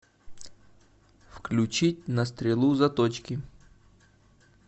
включи на стрелу заточки